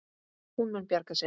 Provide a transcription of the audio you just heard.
Hún mun bjarga sér.